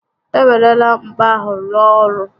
E werela mkpa ahụ rụọ ọrụ